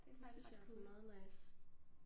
Det synes jeg også er meget nice